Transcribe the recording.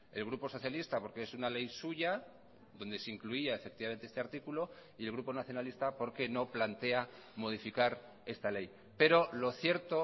el grupo socialista porque es una ley suya donde se incluía efectivamente este artículo y el grupo nacionalista porque no plantea modificar esta ley pero lo cierto